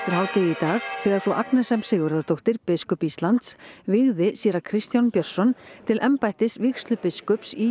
dag þegar frú Agnes m Sigurðardóttir biskup Íslands vígði séra Kristján Björnsson til embættis vígslubiskups í